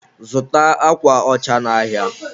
zụta akwa ọcha n'ahịa!